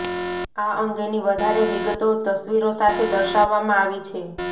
આ અંગેની વધારે વિગતો તસવીરો સાથે દર્શાવવામાં આવી છે